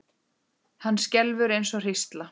Hann skelfur eins og hrísla.